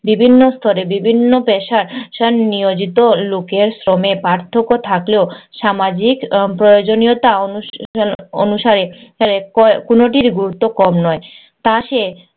বিভিন্ন স্তরে বিভিন্ন পেশায় নিয়োজিত লোকের শ্রমে পার্থক্য থাকলেও সামাজিক প্রয়োজনীয়তা অনুসা~ অনুসারে অনুসারে কোনোটির গুরুত্ব কম নয়। তা সে